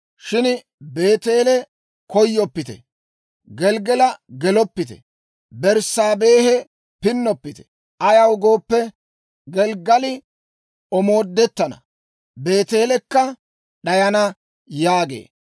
Shin Beeteele koyoppite. Gelggala geloppite. Berssaabehe pinnoppite. Ayaw gooppe, Gelggali omoodettana; Beeteelikka d'ayana» yaagee.